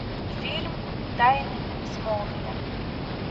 фильм тайны смолвиля